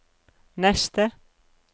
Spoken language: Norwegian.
neste